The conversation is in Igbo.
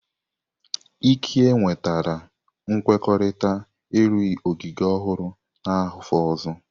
Ike nwetara nkwekọrịta ịrụ ogige ọhụrụ n'afọ ọzọ.